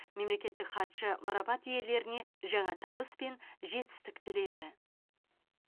мемлекеттік хатшы марапат иелеріне жаңа табыс пен жетістік тіледі